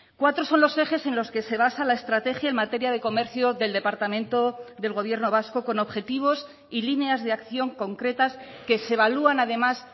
cuatro son los ejes en los que se basa la estrategia en materia de comercio del departamento del gobierno vasco con objetivos y líneas de acción concretas que se evalúan además